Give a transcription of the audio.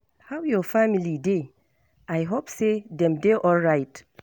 How your family dey? I hope say dem dey alright.